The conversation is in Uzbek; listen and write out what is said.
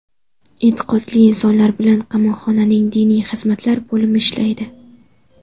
E’tiqodli insonlar bilan qamoqxonaning diniy xizmatlar bo‘limi ishlaydi.